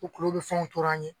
kulokulo bɛ fɛn tɔrɔ an ye.